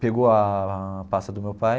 Pegou a pasta do meu pai.